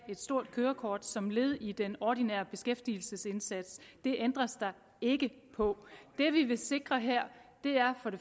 et stort kørekort som led i den ordinære beskæftigelsesindsats det ændres der ikke på det vi vil sikre her er